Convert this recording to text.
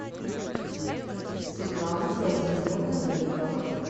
светлана владимировна гарипова